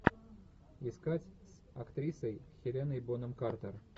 искать с актрисой хеленой бонем картер